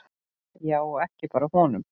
Já, og ekki bara honum.